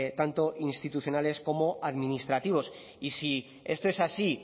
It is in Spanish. tanto institucionales como administrativos y si esto es así